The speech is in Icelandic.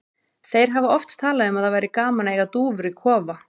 Þeir hafa oft talað um að það væri gaman að eiga dúfur í kofa.